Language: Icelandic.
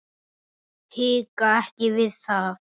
Hika ekki við það.